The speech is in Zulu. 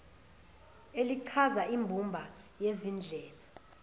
elichaza imbumba yezindlela